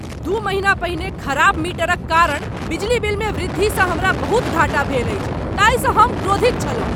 दू महीना पहिने खराब मीटरक कारण बिजली बिलमे वृद्धिसँ हमारा बहुत घाटा भेल अछि ताहि स हम क्रोधित छलहुँ ।